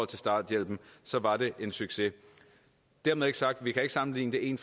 til starthjælpen så var det en succes dermed ikke sagt at vi kan sammenligne en